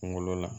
Kunkolo la